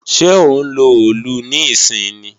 Ṣẹ́ ó ń lo òòlù níìsín ni?